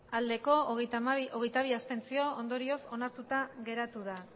bai hogeita bi abstentzio ondorioz onartuta geratu da